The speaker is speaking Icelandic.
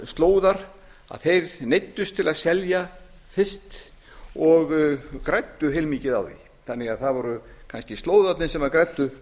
slóðar þeir neyddust til að selja fyrst og græddu heilmikið á því þannig að það voru kannski slóðarnir sem græddu